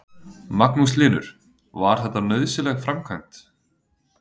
Magnús Hlynur: Var þetta nauðsynleg framkvæmd?